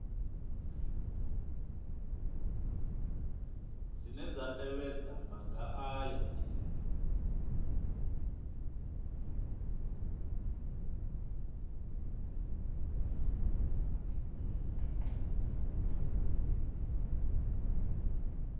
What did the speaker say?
dzine dza tevhedza maga aya